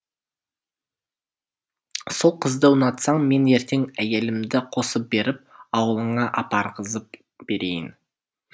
сол қызды ұнатсаң мен ертең әйелімді қосып беріп ауылыңа апарғызып берейін